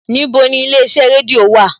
Níbo ni ilé iṣẹ́ rédíò wà?